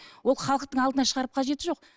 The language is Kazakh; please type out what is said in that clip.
ол халықтың алдына шығарып қажеті жоқ